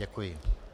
Děkuji.